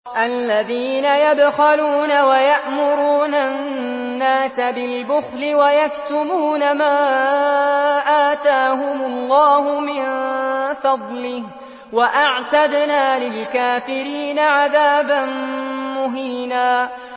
الَّذِينَ يَبْخَلُونَ وَيَأْمُرُونَ النَّاسَ بِالْبُخْلِ وَيَكْتُمُونَ مَا آتَاهُمُ اللَّهُ مِن فَضْلِهِ ۗ وَأَعْتَدْنَا لِلْكَافِرِينَ عَذَابًا مُّهِينًا